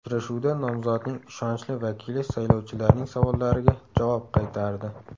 Uchrashuvda nomzodning ishonchli vakili saylovchilarning savollariga javob qaytardi.